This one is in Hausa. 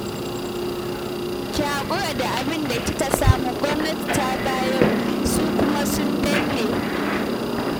Ki haƙura da abin da kika samu, gwamnati ta bayar, su kuma sun danne